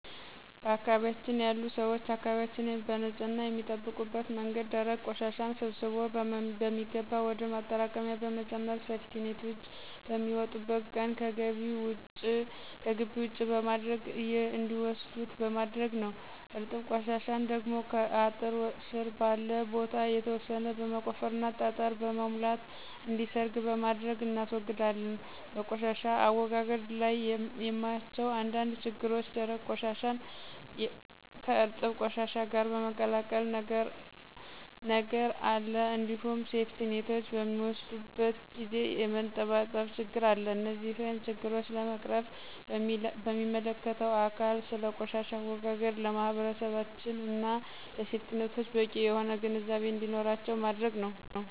በአካባቢያችን ያሉ ሰዎች አካባቢያችንን በንፅህና የሚጠብቁበት መንገድ ደረቅ ቆሻሻን ሰብስቦ በሚገባ ወደ ማጠራቀሚያ በመጨመር ሴፍቲኔቶች በሚመጡበት ቀን ከግቢ ውጪ በማድረግ እንዲወስዱት በማድረግ ነዉ። እርጥብ ቆሻሻን ደግሞ ከአጥር ስር ባለ ቦታ የተወሰነ በመቆፈርና ጠጠር በመሙላት እንዲሰርግ በማድረግ እናስወግዳለን። በቆሻሻ አወጋገድ ላይ የማያቸው አንዳንድ ችግሮች ደረቅ ቆሻሻን ከእርጥብ ቆሻሻ ጋር የመቀላቀል ነገር አለ እንዲሁም ሴፍቲኔቶች በሚወስዱበት ጊዜ የመንጠባጠብ ችግር አለ። እነዚህን ችግሮች ለመቅረፍም ሚመለከተው አካል ስለ ቆሻሻ አወጋገድ ለማህበረሰባችን እና ለሴፍቲኔቶች በቂ የሆነ ግንዛቤ እንዲኖራቸው ማድረግ ነዉ።